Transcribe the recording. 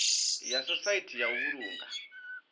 ya sosaithi ya u vhulunga